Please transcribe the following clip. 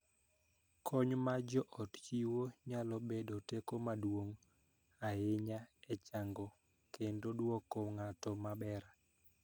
Kony ma joot chiwo nyalo bedo teko maduong� ahinya e chango kendo dwoko ng�ato maber.